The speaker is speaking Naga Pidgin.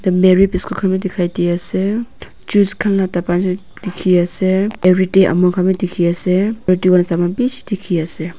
merry biscuit khan bi dikhaidiase juice khan la dapa tu dikhiase everyday amul khan bi dikhiase bishi dikhiase.